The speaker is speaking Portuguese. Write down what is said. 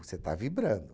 Você está vibrando.